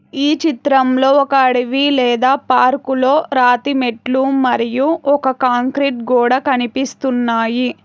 ఈ చిత్రంలో ఒక అడవి లేదా పార్కులో రాతి మెట్లు మరియు ఒక కాంక్రీట్ గోడా కనిపిస్తున్నాయి.